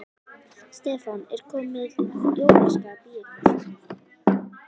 Stefán: Er komið jólaskap í ykkur?